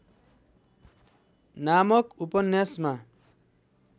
नामक ‍उपन्यासमा